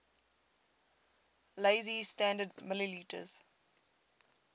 lazy standard ml